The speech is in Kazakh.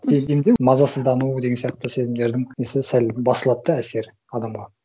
мазасыздану деген сияқты сезімдердің несі сәл басылады да әсері адамға